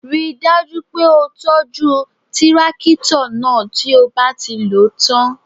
Ríi dájú pé o tọ́jú tírákítọ̀ náà tí ó bá ti lò ó tán